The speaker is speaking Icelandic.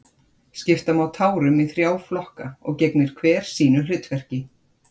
Skipta má tárum í þrjá flokka og gegnir hver sínu hlutverki.